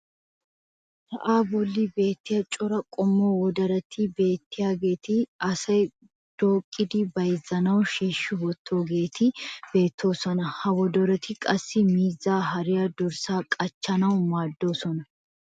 sa'aa bolli beetiya cora qommo wodoroti beetiyaageeti asay dooqqidi bayzzanaassi shiishi wotoogeeti beetoosona. ha woddoroy qassi miizzaa, hariyanne dorssaa qachchanaassi maadoosona.